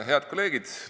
Head kolleegid!